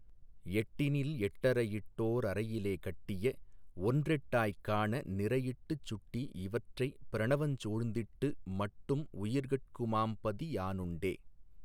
எட்டினில் எட்டறை யிட்டோ ரறையிலே கட்டிய ஒன்றெட்டாய்க் காண நிறையிட்டுச் சுட்டி இவற்றைப் பிரணவஞ் சூழ்ந்திட்டு மட்டும் உயிர்கட் குமாபதி யானுண்டே.